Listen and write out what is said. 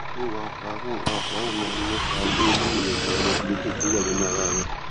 ṣé warfarin warfarin máa ń nípa lórí èròjà hémoglobin tó wà nínú ara rẹ